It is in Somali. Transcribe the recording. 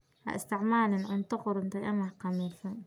Ha isticmaalin cunto qudhuntay ama khamiirsan.